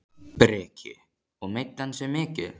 Breki: Og meiddi hann sig mikið?